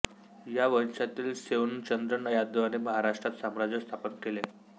या वंशातील सेऊणचंद्र यादवाने महाराष्ट्रात साम्राज्य स्थापन केले